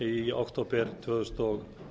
í október tvö þúsund og